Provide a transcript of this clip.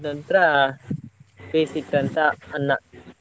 ಆದ್ನಂತ್ರ ಬೇಸಿಟ್ಟಂತ ಅನ್ನ.